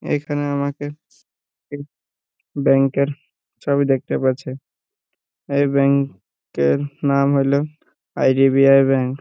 এইখানে আমাকে এক ব্যাঙ্ক - এর ছবি দেখতে বলছে এই ব্যাঙ্ক -এর নাম হলো আই.ডি.বি.আই. ব্যাঙ্ক ।